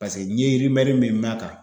Paseke n ye min mɛn a kan